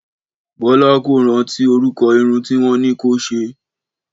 Bọ́lá kò rántí orúkọ irun tí wọ́n ní kó se.